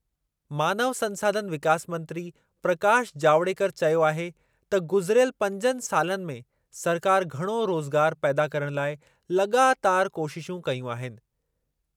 मानव संसाधन विकास मंत्री प्रकाश जावड़ेकर चयो आहे त गुज़िरियल पंजनि सालनि में सरकारि घणो रोज़गारु पैदा करण लाइ लाॻातारि कोशिशूं कयूं आहिनि।